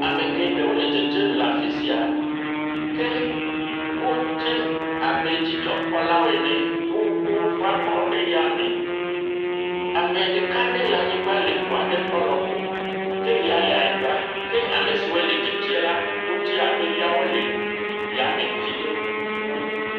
Ame geɖewo le dzedzem le afi sia ke wodze abe dzidzɔkpɔlawo ene. Wowu woƒe abɔwo ɖe yame. Ame ɖeka aɖe le anyigba le ŋu aɖe ƒe lɔƒo ke ya le anyigba. Ke ame siwo le dzedzem la, wodze abe yawo le yame vi aɖe wu.